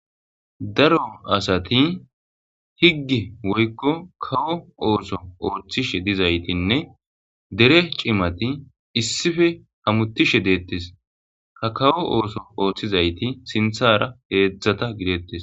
Daro asati higgi woykko kawo ooso ooththishe dizaytinne dere cimati issife hamutishe deettes ha kawo ooso ooththizayti sinthara heedzdzata gideettes